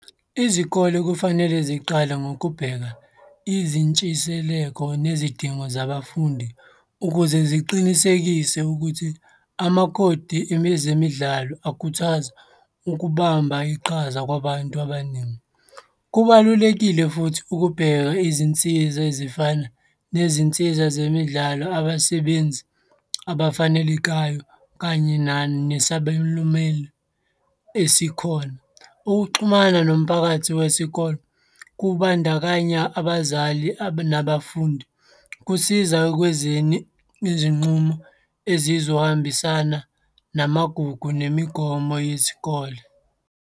Izikole kufanele ziqale ngokubheka izintshiseleko nezidingo zabafundi ukuze ziqinisekise ukuthi amakhodi ezemidlalo akhuthaza ukubamba iqhaza kwabantu abaningi. Kubalulekile futhi ukubheka izinsiza ezifana nezinsiza zemidlalo abasebenzi abafanelekayo kanye nani nesabelo meli esikhona. Ukuxhumana nomphakathi wesikole, kubandakanya abazali nabafundi, kusiza ekwenzeni izinqumo ezizohambisana namagugu nemigomo yesikole.